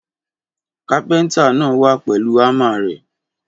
Kàpẹńtà nà wa pẹ́lù àmá rẹ